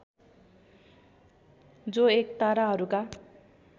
जो एक ताराहरूका